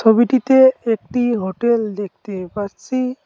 ছবিটিতে একটি হোটেল দেখতে পারছি।